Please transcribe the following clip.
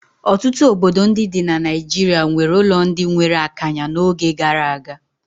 Ọtụtụ obodo ndị dị na Nigeria nwere ụlọ ndị nwere akanya n'oge gara aga.